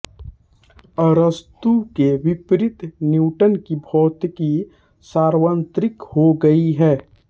अरस्तू के विपरीत न्यूटन की भौतिकी सार्वत्रिक हो गयी है